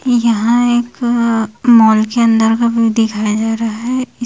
यहां एक मॉल के अंदर का व्यू दिखाया जा रहा है।